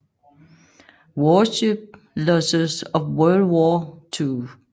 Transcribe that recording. Warship Losses of World War Two